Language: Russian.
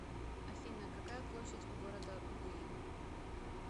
афина какая площадь у города буин